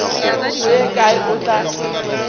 go ye kae o tla